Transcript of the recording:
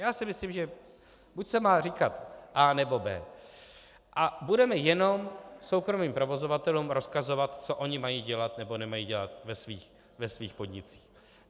Já si myslím, že buď se má říkat A, nebo B. A budeme jenom soukromým provozovatelům rozkazovat, co oni mají dělat nebo nemají dělat ve svých podnicích.